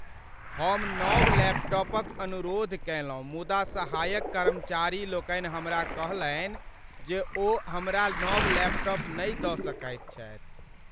हम नव लैपटॉपक अनुरोध कयलहुँ मुदा सहायक कर्मचारी लोकनि हमरा कहलनि जे ओ हमरा नव लैपटाप नहि दऽ सकैत छथि।